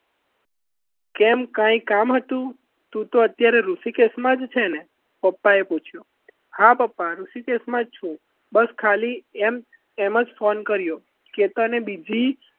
કેમ કંઈ કામ હતું તો અત્યારે ઋષિકેશમાં જ છે ને પપ્પાએ પૂછ્યું હા પપ્પા ઋષિકેશમાં જ છું બસ ખાલી એમ જ phone કર્યો કે તને બીજી